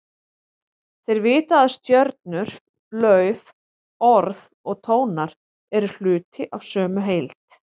Þeir vita að stjörnur, lauf, orð og tónar eru hluti af sömu heild.